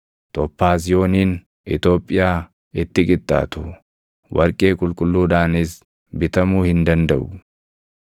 Tophaaziyooniin Itoophiyaa itti qixxaatu; warqee qulqulluudhaanis bitamuu hin dandaʼu.